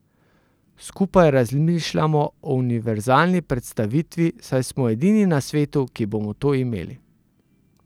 Skupaj razmišljamo o univerzalni predstavitvi, saj smo edini na svetu, ki bomo to imeli.